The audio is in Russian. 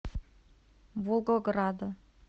волгограда